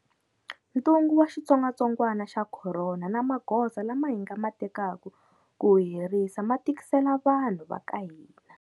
Ntungu wa xitsongwatsongwana xa corona na magoza lama hi nga ma tekaka ku wu herisa ma tikisele vanhu va ka hina.